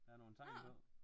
Der er nogle tegn på